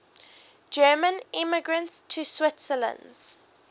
german immigrants to switzerland